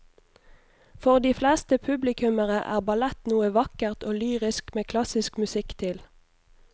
For de fleste publikummere er ballett noe vakkert og lyrisk med klassisk musikk til.